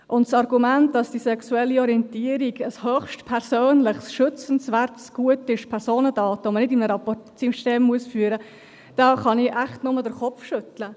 Das Argument, dass die sexuelle Orientierung ein höchst persönliches, schützenswertes Gut sei, dass es Personendaten seien, die man nicht in einem Rapportsystem führen müsse – darüber kann ich echt nur den Kopf schütteln.